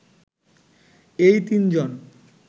এই তিনজন